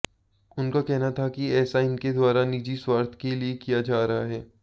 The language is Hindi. उनका कहना था कि ऐसा इनके द्वारा निजी स्वार्थ के लिए किया जा रहा है